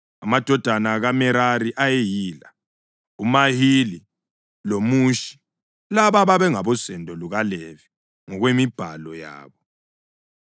Amadodana kaMerari ayeyila: uMahili loMushi. Laba babengabosendo lukaLevi, ngokwemibhalo yabo.